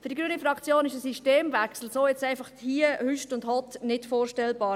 Für die Fraktion Grüne ist ein Systemwechsel jetzt, einfach so, hüst und hott, nicht vorstellbar.